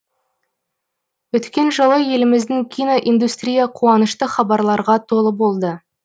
өткен жылы еліміздің кино индустрия қуанышты хабарларға толы болды